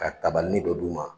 Ka kabalinin dɔ d'u ma